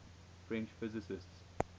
french physicists